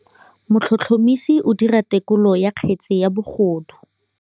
Motlhotlhomisi o dira têkolô ya kgetse ya bogodu.